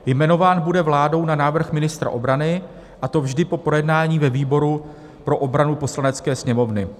Jmenován bude vládou na návrh ministra obrany, a to vždy po projednání ve výboru pro obranu Poslanecké sněmovny.